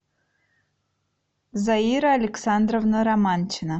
заира александровна романчина